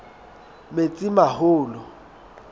metsimaholo